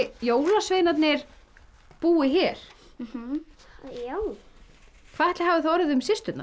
jólasveinarnir búi hér já hvað ætli hafi orðið um systurnar